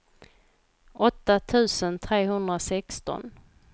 åtta tusen trehundrasexton